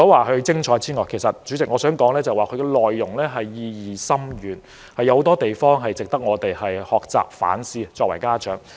代理主席，這齣音樂劇除了精彩之外，意義也深遠，有很多值得我們家長學習和反思的地方。